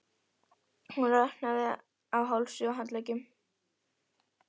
Hún roðnaði á hálsi og handleggjum.